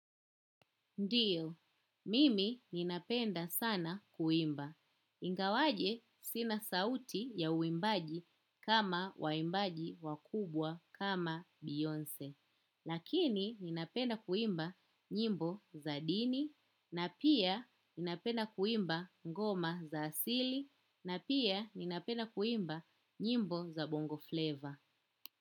Ndio mimi napenda sana kuimba. Ingawaje sina sauti ya uimbaji kama waimbaji wakubwa kama Beyoncé. Lakini ninapenda kuimba nyimbo za dini. Na pia napenda kuimba ngoma za asili na pia ninapenda kuimba nyimbo za bongo fleva.